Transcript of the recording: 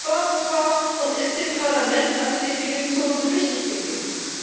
Warum war und ist dem Parlament eine Definition so wichtig gewesen?